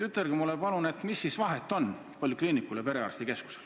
Ütelge mulle, mis vahet on polikliinikul ja perearstikeskusel.